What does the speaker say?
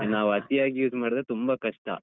ನಾವು ಅತಿಯಾಗಿ use ಮಾಡಿದ್ರೆ ತುಂಬ ಕಷ್ಟ.